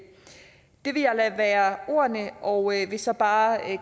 det vil jeg lade være ordene og jeg vil så bare